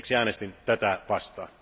Siksi äänestin tätä vastaan.